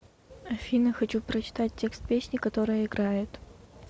афина хочу прочитать текст песни которая играет